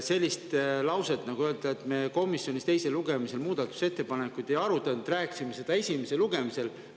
Sellist lauset, et me komisjonis teisel lugemisel muudatusettepanekuid ei arutanud, rääkisime seda esimesel lugemisel, öelda.